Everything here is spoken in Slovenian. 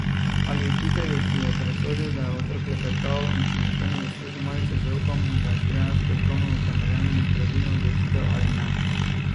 Ali učitelju, ki je presodil, da je otrok klepetal in si zato ne zasluži malice, zaupamo, da je sprejel strokovno utemeljeno in pravilno odločitev ali ne.